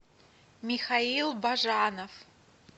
михаил бажанов